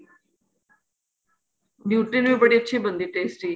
nutri ਵੀ ਬੜੀ ਅੱਛੀ ਬਣਦੀ ਏ tasty